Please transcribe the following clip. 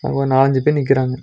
அங்க ஒரு நாலஞ்சு பேர் நிக்கிறாங்க.